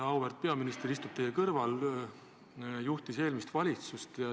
" Auväärt peaminister istub teie kõrval, ta juhtis ka eelmist valitsust.